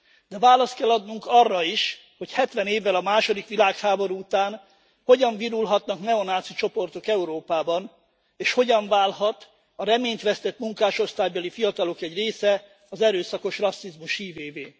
De választ kell adnunk arra is, hogy hetven évvel a második világháború után hogyan virulhatnak neonáci csoportok Európában, és hogyan válhat a reményt vesztett munkásosztálybeli fiatalok egy része az erőszakos rasszizmus hívévé.